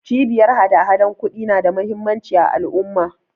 Cibiyar hadahadan ƙudi na da muhimmanci a al'umma.